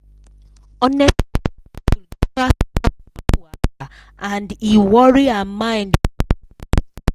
unexpected bill give her serious money wahala and e worry her mind well.